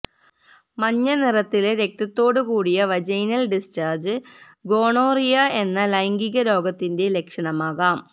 മഞ്ഞ നിറത്തിലെ രക്തത്തോടു കൂടിയ വജൈനല് ഡിസ്ചാര്ജ് ഗോണോറിയ എന്ന ലൈംഗിക രോഗത്തിന്റെ ലക്ഷണമാകാം